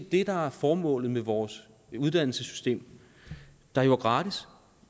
det der er formålet med vores uddannelsessystem der jo er gratis